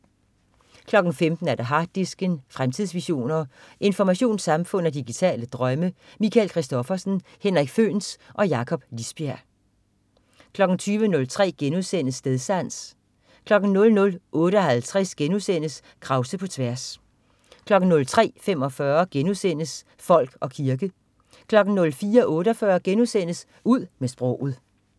15.00 Harddisken. Fremtidsvisioner, informationssamfund og digitale drømme. Michael Christophersen, Henrik Føhns og Jakob Lisbjerg 20.03 Stedsans* 00.58 Krause på tværs* 03.45 Folk og kirke* 04.48 Ud med sproget*